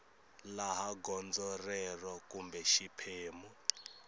laha gondzo rero kumbe xiphemu